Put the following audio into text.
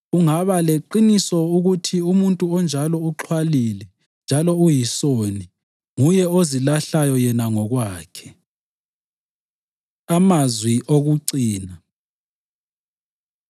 Ungaba leqiniso ukuthi umuntu onjalo uxhwalile njalo uyisoni; nguye ozilahlayo yena ngokwakhe. Amazwi Okucina